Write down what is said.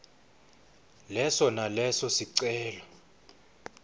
leso naleso sicelo